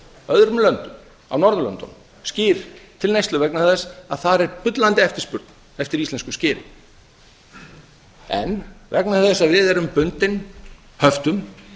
öðrum löndum á norðurlöndunum skyr til neyslu vegna þess að þar er bullandi eftirspurn eftir íslensku skyri en vegna þess að við erum bundin höftum